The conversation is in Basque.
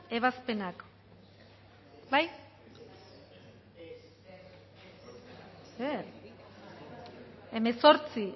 ebazpenak bai zer hemezortzi